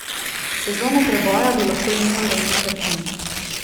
Sezono preboja bi lahko imel Rene Krhin.